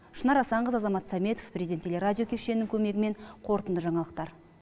шынар асанқызы азамат саметов президент телерадио кешенінің көмегімен қорытынды жаңалықтар